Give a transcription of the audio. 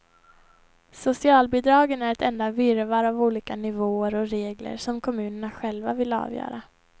Socialbidragen är ett enda virrvarr av olika nivåer och regler som kommunerna själva vill avgöra.